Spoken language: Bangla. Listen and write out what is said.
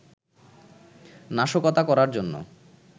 নাশকতা করার জন্য